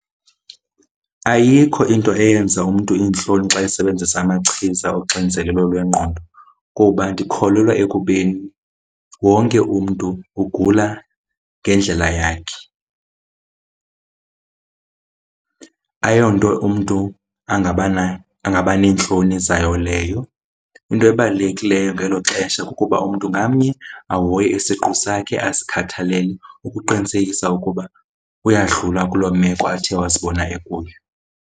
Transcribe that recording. Ayikho into eyenza umntu iintloni xa esebenzisa amachiza oxinzelelo lwengqondo kuba ndikholelwa ekubeni wonke umntu ugula ngendlela yakhe. Ayonto umntu angaba angaba neentloni zayo leyo, into ebalulekileyo ngelo xesha kukuba umntu ngamnye ahoye isiqu sakhe azikhathalele ukuqinisekisa ukuba uyadlula kuloo meko athe wazibona ekuyo.